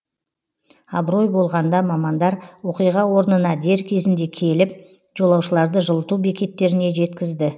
абырой болғанда мамандар оқиға орнына дер кезінде келіп жолаушыларды жылыту бекеттеріне жеткізді